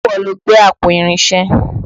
Ṣe ìwọ lo gbé àpò Irinṣé?